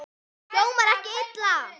Hljómar ekki illa.